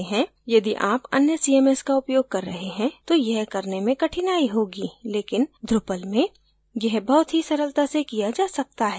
यदि आप अन्य cms का उपयोग कर रहे हैं तो यह करने में कठनाई होगी लेकिन drupal में यह बहुत ही सरलता से किया जा सकता है